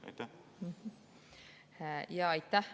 Aitäh!